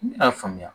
Ne y'a faamuya